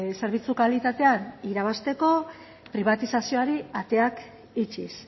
zerbitzu kalitatean irabazteko pribatizazioari ateak itxiz